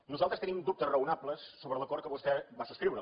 nosaltres tenim dubtes raonables sobre l’acord que vostè va subscriure